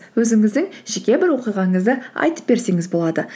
өзіңіздің жеке бір оқиғаңызды айтып берсеңіз болады